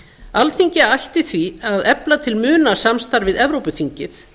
alþingi ætti því að efla til muna samstarf við evrópuþingið